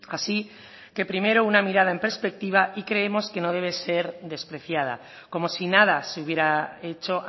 así que primero una mirada en perspectiva y creemos que no debe ser despreciada como si nada se hubiera hecho